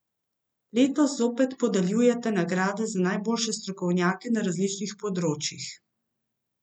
Letos zopet podeljujete nagrade za najboljše strokovnjake na različnih področjih.